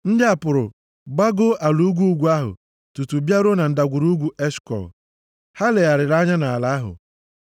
Ndị a pụrụ, gbagoo ala ugwu ugwu ahụ tutu bịaruo na Ndagwurugwu Eshkọl. Ha legharịrị anya nʼala ahụ.